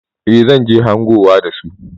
Eh zan je hangowa da su.